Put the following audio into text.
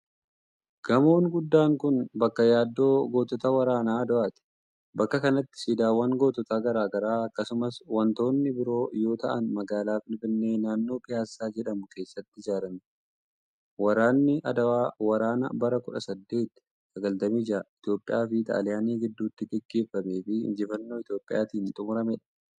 Gamoon guddaan kun, bakka yaadannoo gootota waraana Aduwaati. Bakka kanatti siidaawwan gootota garaa garaa akkasumas wantoonni biroo yoo ta'an magaalaa Finfinnee naannoo Piyaassa jedhamu keesatti ijaaramee. Waraanni Adwaa wraana bara 1896 Itoophiyaa fi Xaaliyaanii gidduutti gaggeeffamee fi injifannoo Itoophiyaatin xumuramee dha.